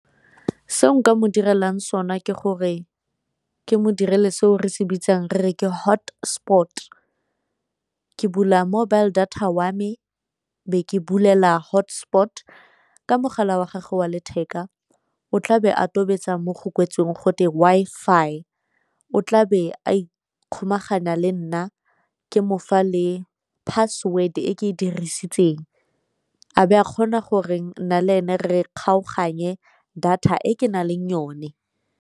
Seo nka mo direlang sone ke gore ke mo direle seo re se bitsang re re ke hotspot, ke bula mobile data wa me be ke bulela hotspot. Ka mogala wa gage wa letheka o tlabe a tobetsa mo go kwetsweng gote Wi-Fi, o tlabe a ikgomaganya le nna ke mofa le password e ke e dirisitseng, a be a kgona gore nna le ene re kgaoganye data e ke nang le yone.